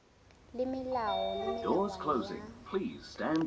le melao le melawana ya